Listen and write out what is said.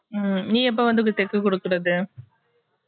உம் நீ எப்ப வந்து தைக்க குடுக்குறது